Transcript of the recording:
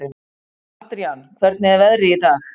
Adrian, hvernig er veðrið í dag?